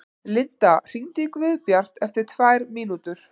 Linda, hringdu í Guðbjart eftir tvær mínútur.